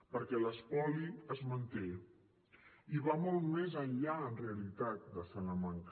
perquè l’espoli es manté i va molt més enllà en realitat de salamanca